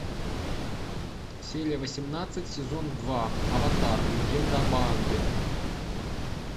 серия восемнадцать сезон два аватар легенда об аанге